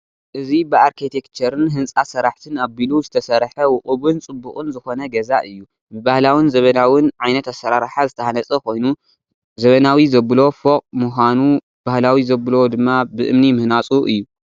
እዚ ብኣርኬቴክቸርን ህንፃ ስራሕትን ኣቢሉ ዝተሰርሐ ውቁብን ፅቡቕን ዝኾነ ገዛ እዩ፡፡ ብባህላውን ዘበናውን ዓይነት ኣሰራርሓ ዝተሃነፀ ኮይኑ ዘበናዊ ዘብሎ ፎቅ ምዃኑ ባህላዊ ዘብሎ ድማ ብእምኒ ምህናፁ እዩ፡፡